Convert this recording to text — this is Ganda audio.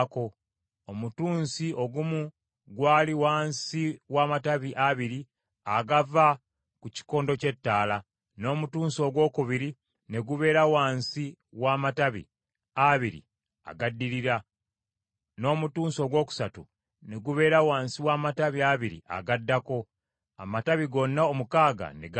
Omutunsi ogumu gwali wansi w’amatabi abiri agava ku kikondo ky’ettaala, n’omuntunsi ogwokubiri ne gubeera wansi w’amatabi abiri agaddirira, n’omutunsi ogwokusatu ne gubeera wansi w’amatabi abiri agaddako, amatabi gonna omukaaga ne gabuna.